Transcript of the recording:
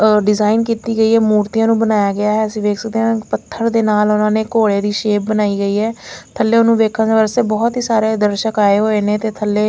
और डिज़ाइन किती गई है मूर्तियाँ नूं बनाया गया है असी वेख सकदे आ पत्थर दे नाल उन्होने घोड़े दी शेप बनाई गई आ थैले ओहनू वेख वसते बहुत ही सारे दर्शक आए हूए ने ते थैले--